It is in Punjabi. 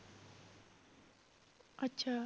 ਅੱਛਾ।